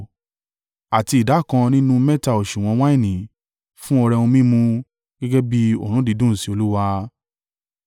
Àti ìdákan nínú mẹ́ta òsùwọ̀n wáìnì fún ọrẹ ohun mímu gẹ́gẹ́ bí òórùn dídùn sí Olúwa.